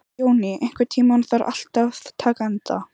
Jóný, einhvern tímann þarf allt að taka enda.